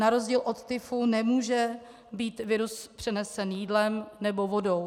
Na rozdíl od tyfu nemůže být virus přenesen jídlem nebo vodou.